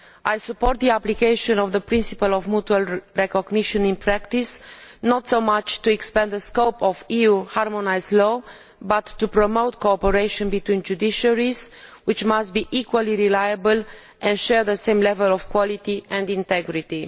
I support the application of the principle of mutual recognition in practice not so much to extend the scope of EU harmonised law but rather to promote cooperation between judiciaries which must be equally reliable and share the same level of quality and integrity.